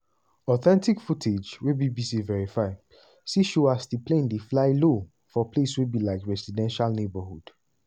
authentic footage wey bbc verify see show as di plane dey fly low for place wey be like residential neighbourhood.